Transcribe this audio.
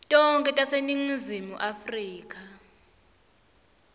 tonkhe taseningizimu afrika